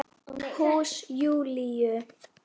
Lofaðir öllu fögru!